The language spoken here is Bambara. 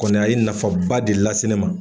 Kɔni a ye nafaba de lase ne ma.